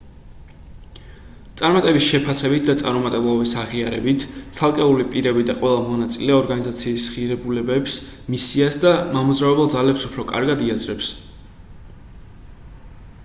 წარმატების შეფასებით და წარუმატებლობის აღიარებით ცალკეული პირები და ყველა მონაწილე ორგანიზაციის ღირებულებებს მისიას და მამოძრავებელ ძალებს უფრო კარგად იაზრებს